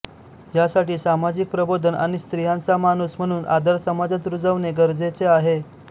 ह्यासाठी सामाजिक प्रबोधन आणि स्त्रियांचा माणूस म्हणून आदर समाजात रुजवणे गरजेचे आहे